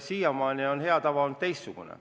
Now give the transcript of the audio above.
Siiamaani on hea tava olnud teistsugune.